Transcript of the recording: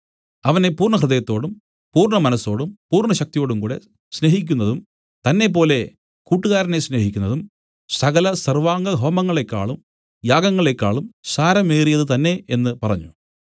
അവനെ പൂർണ്ണഹൃദയത്തോടും പൂർണ്ണമനസ്സോടും പൂർണ്ണശക്തിയോടുംകൂടെ സ്നേഹിക്കുന്നതും തന്നെപ്പോലെ കൂട്ടുകാരനെ സ്നേഹിക്കുന്നതും സകല സർവ്വാംഗഹോമങ്ങളെക്കാളും യാഗങ്ങളേക്കാളും സാരമേറിയത് തന്നേ എന്നു പറഞ്ഞു